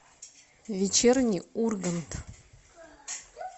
вечерний ургант